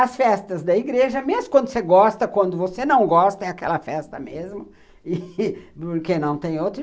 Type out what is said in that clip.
As festas da igreja, mesmo quando você gosta, quando você não gosta, é aquela festa mesmo, porque não tem outra.